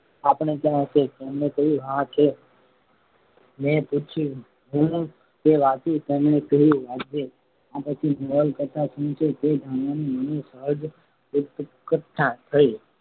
આપણે ત્યાં હશે તેમણે કહ્યું હા છે. મેં પૂછ્યું હું તે વાંચુ તેમણે કહ્યું વાંચજે આ પછી આ નવલકથા શું છે તે જાણવાની મને સહેજ ઉત્કંઠા થઈ